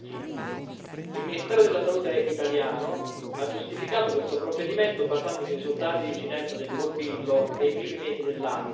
Il ministero della Salute italiano ha giustificato questo provvedimento basandosi sui dati di incidenza del morbillo dei primi mesi dell'anno in Italia